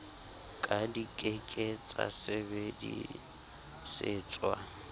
ka di ke ke tsasebedisetswa